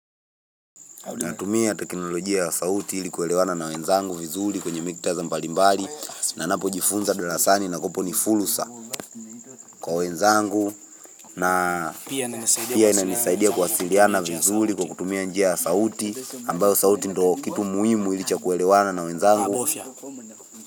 Natumia teknolojia ya sauti ili kuelewana na wenzangu vizuri kwenye miktadha mbali mbali na napo jifunza darasani na kopo ni fulusa kwa wenzangu na pia ina nisaidia kuwasiliana vizuli kwa kutumia njia ya sauti ambayo sauti ndo kitu muhimu hili cha kuelewana na wenzangu.